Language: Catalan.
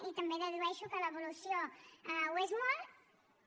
i també dedueixo que l’evolució ho és molt